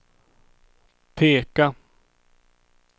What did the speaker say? peka